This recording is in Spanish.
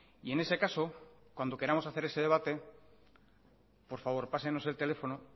y en ese caso cuando queramos hacer ese debate por favor pásenos el teléfono